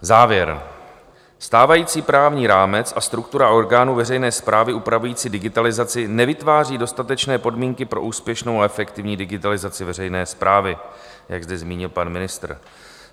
Závěr - stávající právní rámec a struktura orgánů veřejné správy upravující digitalizaci nevytváří dostatečné podmínky pro úspěšnou a efektivní digitalizaci veřejné správy, jak zde zmínil pan ministr.